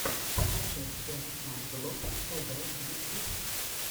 покажи техноглоб тэвэ ютьюб